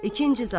İkinci zabit.